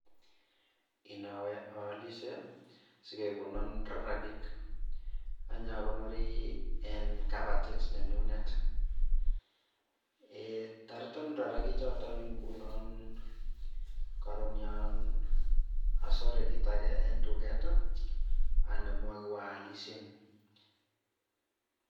Inoowe aalishe sikekonon rarakik anyakonorii eng kabatit nenyunet. toreton rarakik choton ngunon karon yo asore kiit age en duket, anemu ak iwaalishen.